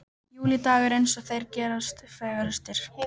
Júlídagur eins og þeir gerast fegurstir.